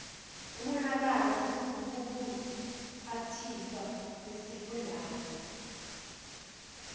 umonalalo kubuphathiswa besifundazwe